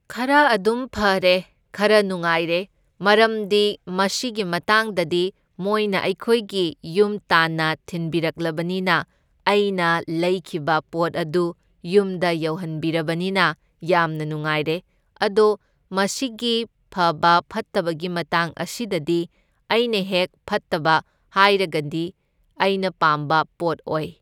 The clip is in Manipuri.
ꯈꯔ ꯑꯗꯨꯝ ꯐꯔꯦ, ꯈꯔ ꯅꯨꯉꯥꯏꯔꯦ, ꯃꯔꯝꯗꯤ ꯃꯁꯤꯒꯤ ꯃꯇꯥꯡꯗꯗꯤ ꯃꯣꯏꯅ ꯑꯩꯈꯣꯏꯒꯤ ꯌꯨꯝ ꯇꯥꯟꯅ ꯊꯤꯟꯕꯤꯔꯛꯂꯕꯅꯤꯅ ꯑꯩꯅ ꯂꯩꯈꯤꯕ ꯄꯣꯠ ꯑꯗꯨ ꯌꯨꯝꯗ ꯌꯧꯍꯟꯕꯤꯔꯕꯅꯤꯅ ꯌꯥꯝꯅ ꯅꯨꯡꯉꯥꯏꯔꯦ, ꯑꯗꯣ ꯃꯁꯤꯒꯤ ꯐꯕ ꯐꯠꯇꯕꯒꯤ ꯃꯇꯥꯡ ꯑꯁꯤꯗꯗꯤ ꯑꯩꯅ ꯍꯦꯛ ꯐꯠꯇꯕ ꯍꯥꯏꯔꯒꯗꯤ ꯑꯩꯅ ꯄꯥꯝꯕ ꯄꯣꯠ ꯑꯣꯏ꯫